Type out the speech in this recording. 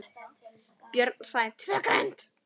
Björn sagði TVÖ GRÖND!